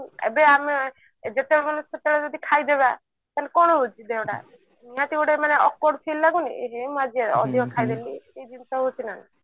ଏବେ ଆମେ ଯେତେବେଳ ନାଇଁ ସେତେବେଳେ ଯଦି ଖାଇ ଯିବା ତାହେଲେ କଣ ହାଉଛି ଦେହଟା ନିହାତି ମାନେ ଗୋଟେ accrued feel ଲାଗୁନି ଏହେ ମୁଁ ଆଜି ଅଧିକ ଖାଇଦେଲି ସେଇ ଜିନିଷ ହଉଛି ନା